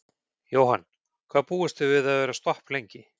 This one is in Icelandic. Jóhann: Hvað búist þið við að vera stopp lengi?